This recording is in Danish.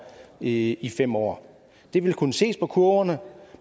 i i fem år det vil kunne ses på kurverne